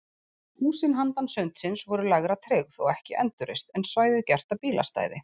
Húsin handan sundsins voru lægra tryggð og ekki endurreist, en svæðið gert að bílastæði.